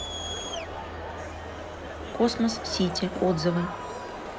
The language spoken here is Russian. космос сити отзывы